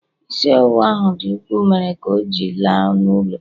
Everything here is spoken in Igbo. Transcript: isi ọwụwa ahụ dị ukwuu, mere ka ọ ji la n'ụlọ